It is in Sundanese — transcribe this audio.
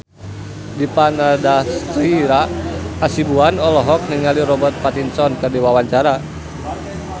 Dipa Nandastyra Hasibuan olohok ningali Robert Pattinson keur diwawancara